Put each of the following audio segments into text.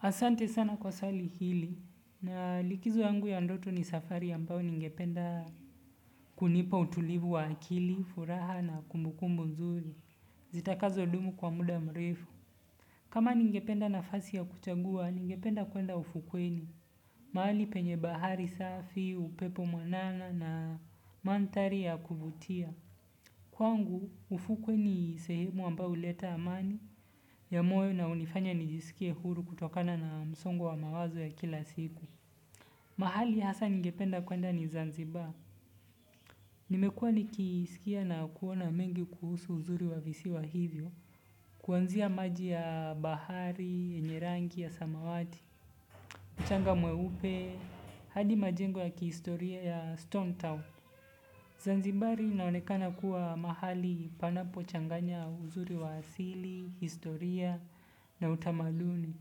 Asante sana kwa swali hili. Na likizo yangu ya ndoto ni safari ambayo ningependa kunipa utulivu wa akili, furaha na kumbukumbu nzuri. Zitakazo dumu kwa muda mrefu. Kama ningependa nafasi ya kuchagua ningependa kuenda ufukweni mahali penye bahari safi, upepo mwanana na manthari ya kuvutia. Kwangu ufukwe ni sehemu ambayo huleta amani ya moyo na hunifanya nijiskie huru kutokana na msongo wa mawazo ya kila siku mahali hasa ningependa kuenda ni zanziba. Nimekuwa nikisikia na kuona mengi kuhusu uzuri wa visiwa hivyo. Kwanzia maji ya bahari yenye rangi ya samawati mchanga mweupe hadi majengo ya kihistoria ya stone town Zanziba linaonekana kuwa mahali panapo changanya uzuri wa asili, historia na utamaduni.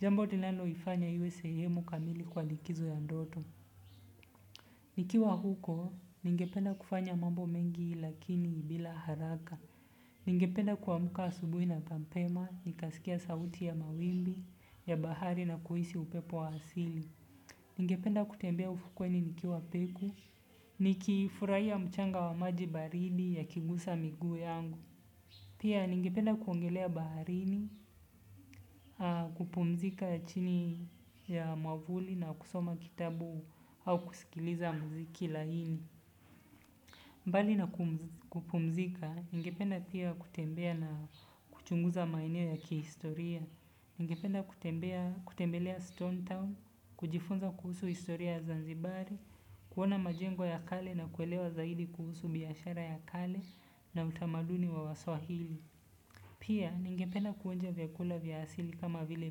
Jambo linalo ifanya iwe sehemu kamili kwa likizo ya ndoto. Nikiwa huko, ningependa kufanya mambo mengi lakini bila haraka. Ningependa kuamka asubui na mapema, nikasikia sauti ya mawimbi, ya bahari na kuhisi upepo wa asili. Ningependa kutembea ufukweni nikiwa peku. Nikifurahia mchanga wa maji baridi yakigusa miguu yangu. Pia ningependa kuogelea baharini, kupumzika chini ya mwavuli na kusoma kitabu au kusikiliza mziki laini. Mbali na kupumzika, ningependa pia kutembea na kuchunguza maeneo ya kihistoria. Ningependa kutembelea Stone Town, kujifunza kuhusu historia ya zanzibari, kuona majengo ya kale na kuelewa zaidi kuhusu biashara ya kale na utamaduni wa waswahili. Pia, ningependa kuonja vyakula vya asili kama vile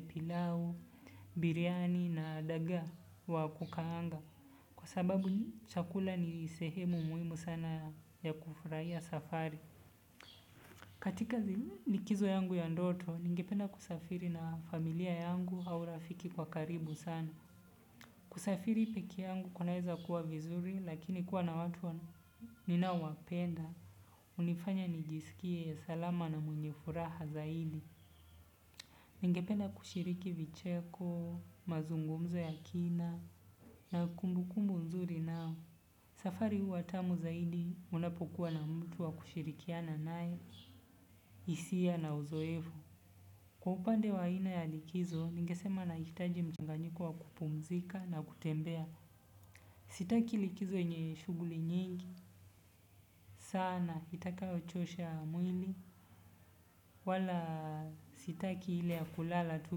pilau, biryani na dagaa wa kukaanga kwa sababu chakula ni sehemu muhimu sana ya kufurahia safari. Katika likizo yangu ya ndoto, ningependa kusafiri na familia yangu au rafiki kwa karibu sana. Kusafiri pekee yangu kunaeza kuwa vizuri, lakini kuwa na watu ninao wapenda. Hunifanya nijisikie salama na mwenye furaha zaidi. Ningependa kushiriki vicheko, mazungumzo ya kina, na kumbu kumbu nzuri nao. Safari huwa tamu zaidi unapokuwa na mtu wa kushirikiana nae, hisia na uzoefu. Kwa upande wa aina ya likizo, ningesema nahitaji mchanganyiko wa kupumzika na kutembea. Sitaki likizo yenye shughuli nyingi, sana itakayo chosha mwili, wala sitaki ile ya kulala tu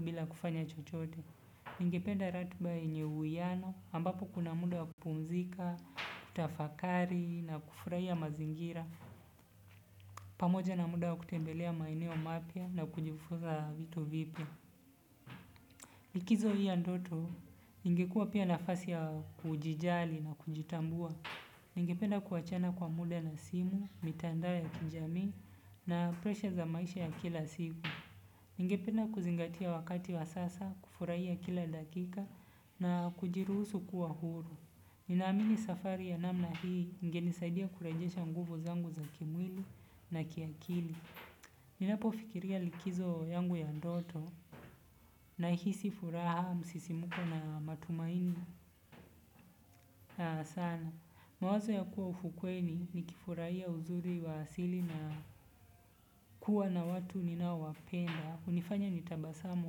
bila kufanya chochote. Ningependa ratiba yenye uwiano, ambapo kuna muda wa kupumzika, kutafakari na kufurahiya mazingira. Pamoja na muda ya kutembelea maeneo mapya na kujifunza vitu vipya. Likizo hii ya ndoto ingekuwa pia nafasi ya kujijali na kujitambua ningependa kuachana kwa muda na simu, mitandao ya kijamii na presha za maisha ya kila siku. Ningependa kuzingatia wakati wa sasa, kufurahiya kila dakika na kujiruhusu kuwa huru. Ninaamini safari ya namna hii ingenisaidia kurejesha nguvu zangu za kimwili na kiakili ninapo fikiria likizo yangu ya ndoto nahisi furaha msisimuko na matumaini na sana. Mawazo ya kuwa ufukweni nikifurahiya uzuri wa asili na kuwa na watu ninaowapenda. Hunifanya nitabasamu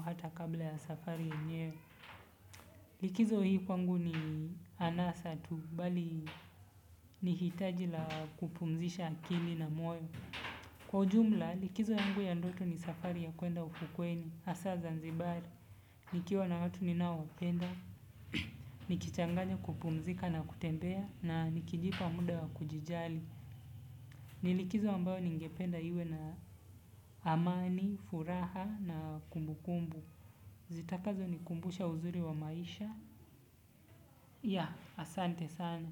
hata kabla ya safari yenyewe. Likizo hii kwangu ni anasa tu bali ni hitaji la kupumzisha akili na moyo. Kwa ujumla likizo yangu ya ndoto ni safari ya kuenda ufukweni hasa zanzibari. Nikiwa na watu ninao penda nikichanganya kupumzika na kutembea na nikijipa muda wa kujijali ni likizo ambayo ningependa iwe na amani, furaha na kumbukumbu zitakazo nikumbusha uzuri wa maisha. Ya, asante sana.